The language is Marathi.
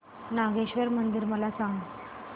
नागेश्वर मंदिर मला सांग